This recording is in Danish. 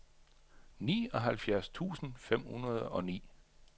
nioghalvtreds tusind fem hundrede og ni